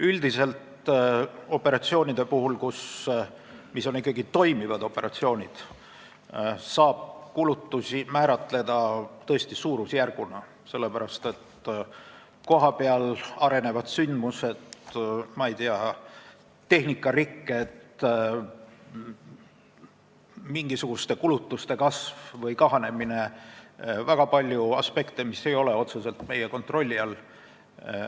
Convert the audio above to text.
Üldiselt saab toimivate operatsioonide kulutusi tõesti suurusjärguna määratleda, sellepärast et väga palju aspekte – kohapeal arenevad sündmused, tehnikarikked, mingisuguste kulutuste kasv või kahanemine – ei ole otseselt meie kontrolli all.